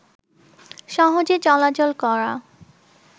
সহজে চলাচল করা